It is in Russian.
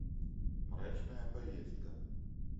мрачная поездка